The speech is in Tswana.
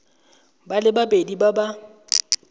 ba le babedi ba ba